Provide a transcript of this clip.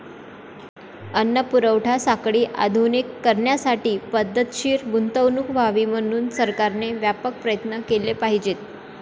अन्न पुरवठा साखळी आधुनिक करण्यासाठी पद्धतशीर गुंतवणूक व्हावी म्हणून सरकारने व्यापक प्रयत्न केले पाहिजेत.